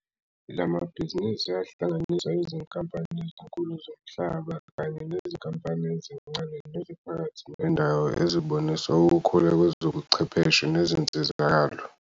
La mabhizinisi ahlanganisa izinkampani ezinkulu zomhlaba kanye nezinkampani ezincane neziphakathi nendawo ezibonisa ukukhula kwezobuchwepheshe nezinsizakalo.